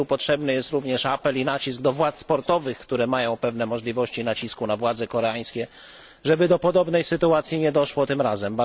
Potrzebny jest w tej kwestii apel i nacisk ze strony władz sportowych, które mają pewne możliwości nacisku na władze koreańskie, żeby do podobnej sytuacji nie doszło tym razem.